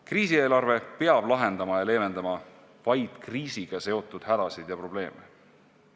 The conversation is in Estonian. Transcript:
Kriisieelarve peab lahendama ja leevendama vaid kriisiga seotud hädasid ja probleeme.